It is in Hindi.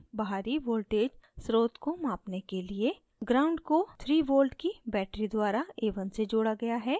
बाहरी voltage स्रोत को मापने के लिए ground gnd को 3v की battery द्वारा a1 से जोड़ा गया है